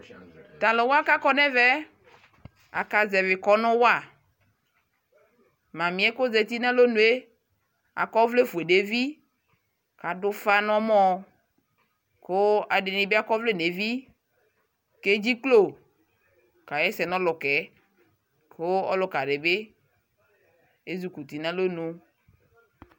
Taluwakakɔ nɛvɛ akazɛvi kɔnu wa mame kɔzati nalonue akɔvlɛ fue nevi kadufa nɔmɔɔ kuu ɛdini bi akɔɔ vlɛ nevi keɖʒiklo kaɣɛsɛ nɔlukɛ kuu ɔlukadibi ezeti nalɔnu